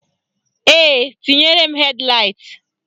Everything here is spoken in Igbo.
Ee, tinyere m hed laịt